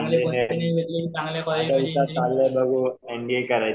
चांगल्या कॉलेजमध्ये इंजिनिअरिंग करायचं